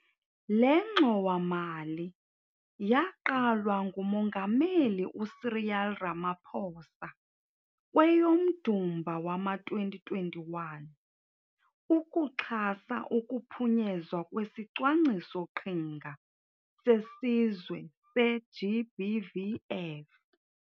Le ngxowa-mali yaqalwa nguMongameli uCyril Ramaphosa kweyoMdumba wama-2021, ukuxhasa ukuphunyezwa kwesiCwangciso-qhinga seSizwe se-GBVF.